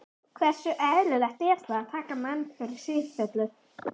Hversu eðlilegt er það að taka mann fyrir í sífellu?